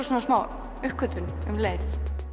svona smá uppgötvun um leið